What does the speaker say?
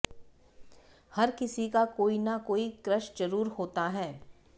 हर किसी का कोई ना कोई क्रश जरूर होता है